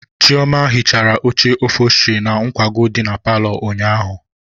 Chioma hichara oche ofosturị na nkwago dị na paalọ ụnyaahụ.